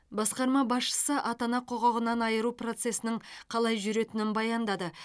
басқарма басшысы ата ана құқығынан айыру процесінің қалай жүретінін баяндады